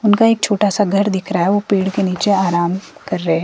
उनका एक छोटा सा घर दिख रहा है वो पेड़ के नीचे आराम कर रहे--